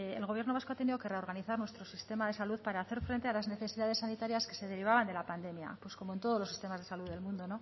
el gobierno vasco ha tenido que reorganizar nuestro sistema de salud para hacer frente a las necesidades sanitarias que se derivaban de la pandemia pues como todos los sistemas del mundo